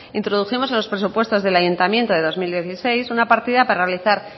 introdujimos en los presupuestos del ayuntamiento de dos mil dieciséis una partida para realizar